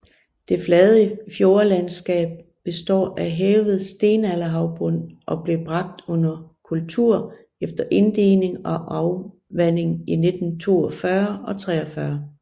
Det flade fjordlandskab består af hævet stenalderhavbund og blev bragt under kultur efter inddigning og afvanding i 1942 og 43